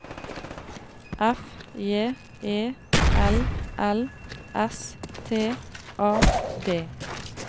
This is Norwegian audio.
F J E L L S T A D